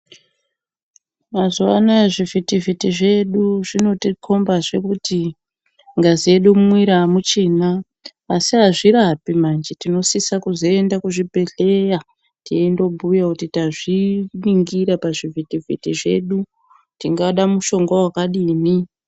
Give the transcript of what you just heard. Mazuwa ano aya zvivhiti vhiti zvedu zvinotikomba zvee kuti ngazi yedu mumwiri amuchina asi azvirapi manje, tinosisa kuzoenda kuzvibhehleya teindobhuya kuti tazviningira pazvivhitivhiti zvedu tingade mushonga wakadini.